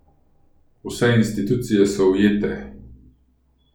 Vse institucije so ujete?